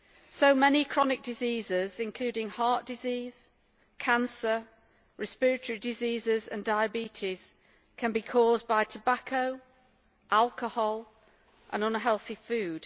So many chronic diseases, including heart disease, cancer, respiratory diseases and diabetes can be caused by tobacco, alcohol and unhealthy food.